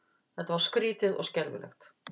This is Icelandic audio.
Þetta var skrýtið og skelfilegt.